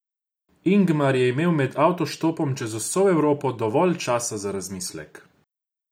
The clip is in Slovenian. Ingmar je imel med avtoštopom čez vso Evropo dovolj časa za razmislek.